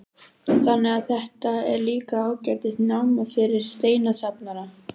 Þannig að þetta er líka ágætis náma fyrir steinasafnara?